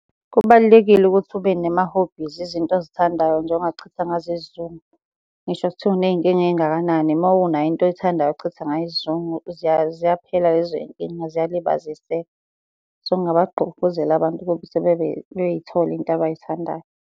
Kubalulekile ukuthi ube nema-hobbies izinto ozithandayo nje ongachitha ngazo isizungu. Ngisho sekuthiwa uney'nkinga ey'ngakanani, uma unayo into oyithandayo ochitha ngayo isizungu ziyaphela lezoy'nkinga ziyalibaziseka. So, ngingabagqugquzela abantu ukuthi bey'thole iy'nto abay'thandayo.